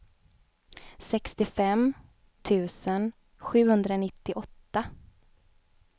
sextiofem tusen sjuhundranittioåtta